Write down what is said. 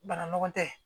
Bana nɔgɔ tɛ